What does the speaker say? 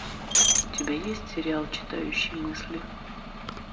у тебя есть сериал читающий мысли